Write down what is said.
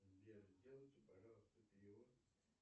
сбер сделайте пожалуйста перевод